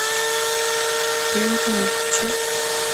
первый канал включи